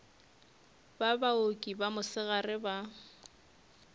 ba baoki ba mosegare ba